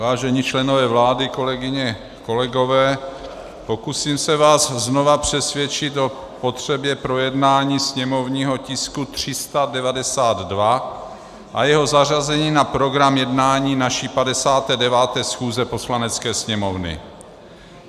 Vážení členové vlády, kolegyně, kolegové, pokusím se vás znova přesvědčit o potřebě projednání sněmovního tisku 392 a jeho zařazení na program jednání naší 59. schůze Poslanecké sněmovny.